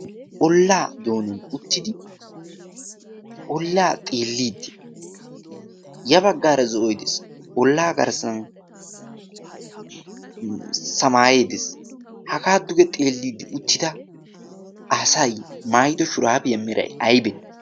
olaa doonan uttidi olaa xeeliidi olaa xeeliidi des. ha olaa xeeliidi uttida asay maayido shuraabiya meray aybee?